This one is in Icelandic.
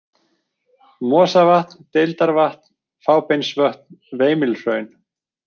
Mosavatn, Deildarvatn, Fábeinsvötn, Veimilhraun